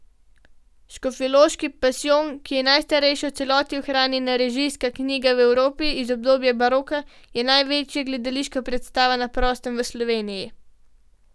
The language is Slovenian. Škofjeloški pasijon, ki je najstarejša v celoti ohranjena režijska knjiga v Evropi iz obdobja baroka, je največja gledališka predstava na prostem v Sloveniji.